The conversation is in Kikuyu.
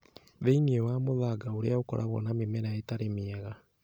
Thĩinĩ wa mũthanga ũrĩa ũkoragwo na mĩmera ĩtarĩ mĩega